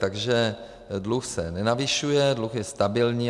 Takže dluh se nenavyšuje, dluh je stabilní.